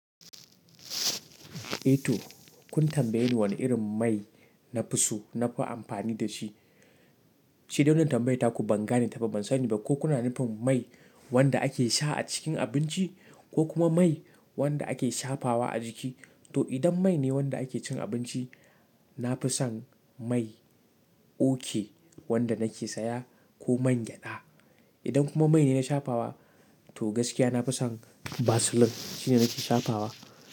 A toh, kun tambaye ni wani irin mai nafi so na fi amfani da shi. Shi dai wannna tambayar taku ban gane ta ba, ban sani ba ko kuna nufin mai wanda ake sha a cikin abinci ko kuma mai wanda ake shafawa a jiki? Toh idan mai ne wanda ake cin abinci, nafi son mai okay wanda nake siya ko man gyada. Idan kuma mai ne na shafawa, toh gaskiya nafi son Vaseline shine nake shafawa.